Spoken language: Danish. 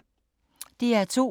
DR2